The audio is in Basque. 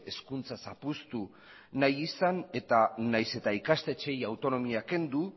hezkuntza zapuztu nahi izan eta nahiz eta ikastetxeei autonomia kendu